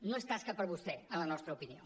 no és tasca per a vostè en la nostra opinió